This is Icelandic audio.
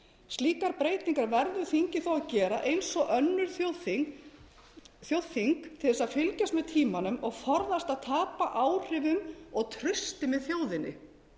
slíkar breytingar verður þingið þó að gera eins og önnur þjóðþing til að fylgjast með tímanum og forðast að tapa áhrifum og trausti með þjóðinni